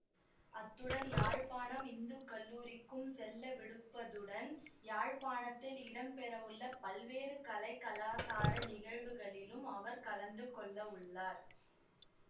அத்துடன் யாழ்ப்பாணம் இந்து கல்லூரிக்கும் செல்லவிடுப்பதுடன் யாழ்ப்பாணத்தில் இடம்பெறவுள்ள பல்வேறு கலை கலாசார நிகழ்வுகளிலும் அவர் கலந்து கொள்ளவுள்ளார்